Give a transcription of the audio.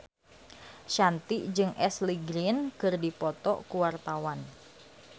Shanti jeung Ashley Greene keur dipoto ku wartawan